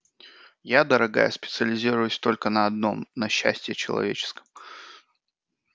я дорогая специализируюсь только на одном на счастье человеческом